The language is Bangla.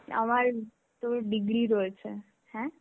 আমার তো degree রয়েছে. হ্যাঁ